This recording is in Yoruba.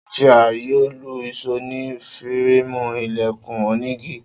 Sophia yoo lu ìṣó ni fireemu ilẹkun onigi.